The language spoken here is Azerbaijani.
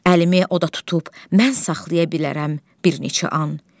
Əlimi oda tutub mən saxlaya bilərəm bir neçə an.